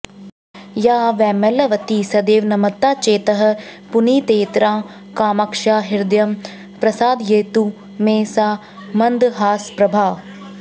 या वैमल्यवती सदैव नमतां चेतः पुनीतेतरां कामाक्ष्या हृदयं प्रसादयतु मे सा मन्दहासप्रभा